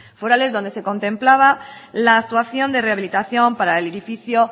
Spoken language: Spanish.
forales donde se contemplaba la actuación de rehabilitación para el edificio